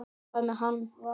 Hvað með hann?